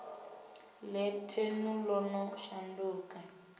ḽe thenu ḽo no shandukisa